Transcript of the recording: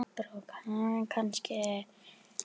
Anna Lára og Friðrik Breki.